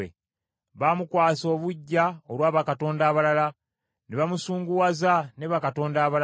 Baamukwasa obuggya olwa bakatonda abalala ne bamusunguwaza ne bakatonda abalala.